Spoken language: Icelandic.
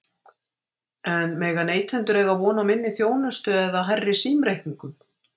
En mega neytendur eiga von á minni þjónustu eða hærri símreikningum?